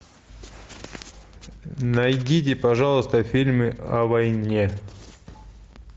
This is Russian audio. найдите пожалуйста фильмы о войне